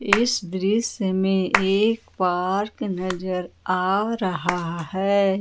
इस दृश्य में एक पार्क नजर आ रहा है।